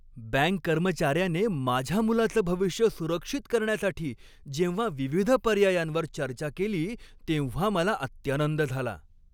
Bank कर्मचाऱ्याने माझ्या मुलाचं भविष्य सुरक्षित करण्यासाठी जेव्हा विविध पर्यायांवर चर्चा केली तेव्हा मला अत्यानंद झाला.